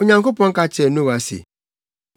Onyankopɔn ka kyerɛɛ Noa se,